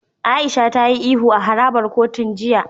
Aisha ta yi ihu a harabar kotun jiya.